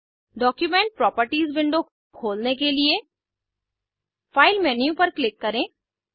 document properties window खोलने के लिए फाइल मेन्यू पर क्लिक करें